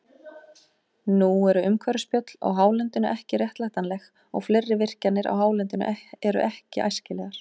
Nú eru umhverfisspjöll á hálendinu ekki réttlætanleg, eða fleiri virkjanir á hálendinu eru ekki æskilegar.